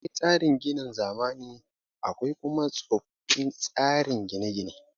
Akwai tsarin ginin zamani akwai kuma tsofin tsarin gine gine